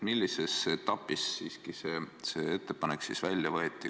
Millises etapis siiski see ettepanek välja võeti?